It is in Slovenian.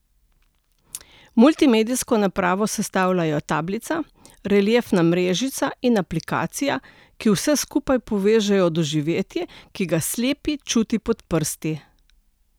Multimedijsko napravo sestavljajo tablica, reliefna mrežica in aplikacija, ki vse skupaj poveže v doživetje, ki ga slepi čuti pod prsti.